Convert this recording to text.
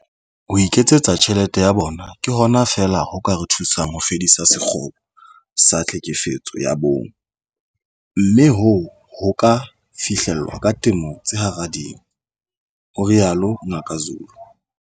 Ho iketsetsa tjhelete ya bona ke hona fela ho ka re thusang ho fedisa sekgobo sa tlhekefetso ya bong, mme hoo ho ka fihlellwa ka temo hara tse ding," ho rialo Ngaka Zulu.